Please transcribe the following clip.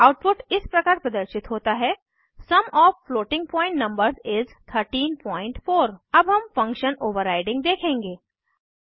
output इस प्रकार प्रदर्शित होता है sum of floating point numbers इस 134 अब हम फंक्शन ओवर्राइडिंग देखेंगे